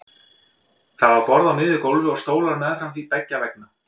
Það var borð á miðju gólfi og stólar meðfram því beggja vegna.